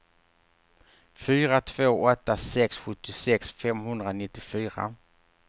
fyra två åtta sex sjuttiosex femhundranittiofyra